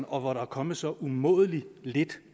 og hvor der er kommet så umådelig lidt